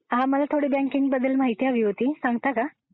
हां मला थोडी बँकिंग बद्दल माहिती हवी होती, सांगता का?